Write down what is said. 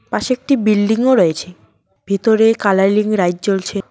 পাশে একটি বিল্ডিং -ও রয়েছে ভিতরে কালালিং লাইট জ্বলছে।